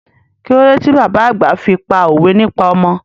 Kílódé ti bàbá àgbà fi pá òwe nípa ọmọ?